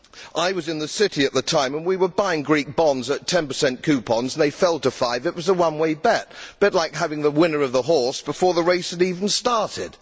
I was in the City at the time and we were buying Greek bonds at 10 coupons, they fell to five and it was a one way bet a bit like having the winner of the horse before the race had even started!